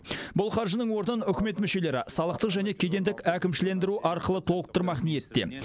бұл қаржының орнын үкімет мүшелері салықтық және кедендік әкімшілендіру арқылы толтырмақ ниетте